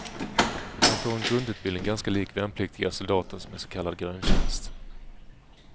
De får en grundutbildning ganska lik värnpliktiga soldaters med så kallad gröntjänst.